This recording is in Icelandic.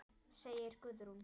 segir Guðrún.